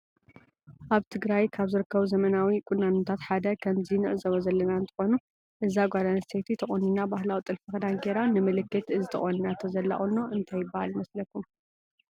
አብ ትግራየ ካብ ዝርክቡ ዘመናዉ ቁኖታት ሓደ ከመዚ ንዕዞቦ ዘለና እንትክኑ እዚ ጋል አንስተይቲ ተቆኒና ባህላዊ ጥልፊ ክዳን ገይራ ንምልክት እዚ ተቂኒናቶ ዘላ ቁኖ እንታይ ይበሃል ይመስለኩም ?